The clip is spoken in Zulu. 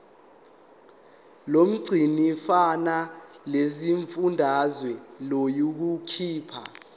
lomgcinimafa lesifundazwe liyokhipha